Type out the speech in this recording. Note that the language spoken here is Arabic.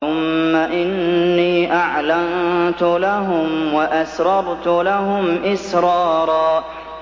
ثُمَّ إِنِّي أَعْلَنتُ لَهُمْ وَأَسْرَرْتُ لَهُمْ إِسْرَارًا